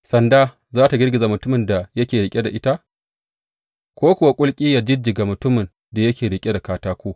Sanda za tă girgiza mutumin da yake riƙe da ita, ko kuwa kulki yă jijjiga mutumin da yake riƙe da katako!